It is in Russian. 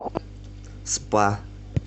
спа